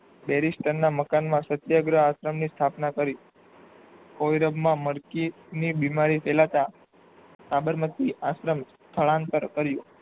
બેરિસ્ટરના મકાનમાં સત્યગ્રહ આશ્રમ ની સ્થાપના કરી. કોઈરગમાં મર્કી ની બીમારી ફેલાતા સાબરમતી આશ્રમ સ્થળાન્તર કર્યું